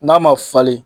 N'a ma falen